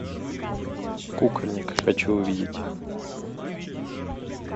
кукольник хочу увидеть